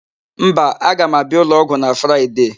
Mba, aga m abịa ụlọọgwụ na Fraịde.